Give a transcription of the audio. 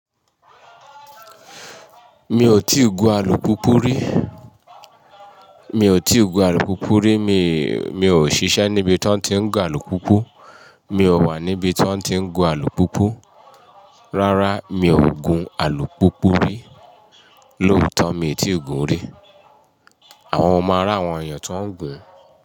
Mi ò tíì gun alùpùpù rí, mi ò tíì gun alùpùpù rí, mi, mi ò ṣiṣẹ́ níbi tí wọ́n ti ń gun alùpùpù, mi ò wà níbi tí wọ́n ti ń gun alùpùpù, rárá, mi ò gun alùpùpù rí, lóòótọ́ mi ò tíì gun rí. Àwa máa ri àwọn èèyàn tí wọ́n ń gbìn.